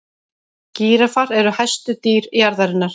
gíraffar eru hæstu dýr jarðarinnar